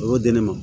O y'o di ne ma